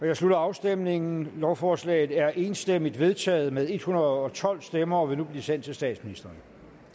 jeg slutter afstemningen lovforslaget er enstemmigt vedtaget med en hundrede og tolv stemmer og vil nu blive sendt til statsministeren